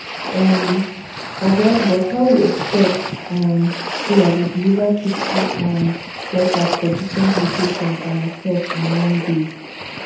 um oga but how you expet um say i go deliver fifty um letters for different locations by myself in one day